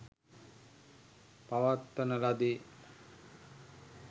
පවත්වන ලදී.